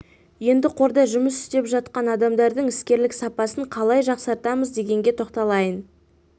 енді қорда жұмыс істеп жатқан адамдардың іскерлік сапасын қалай жақсартамыз дегенге тоқталайын